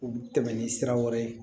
U bi tɛmɛ ni sira wɛrɛ ye